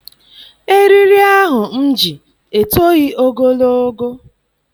Eriri ahụ m ji etoghị ogologo.